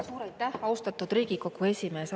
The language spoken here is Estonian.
Suur aitäh, austatud Riigikogu esimees!